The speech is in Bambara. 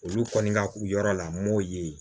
Olu kɔni ka u yɔrɔ lam'o ye